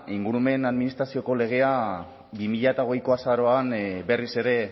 ingurumen administrazioko legea bi mila hogeiko azaroan berriz ere